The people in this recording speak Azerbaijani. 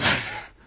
Geber!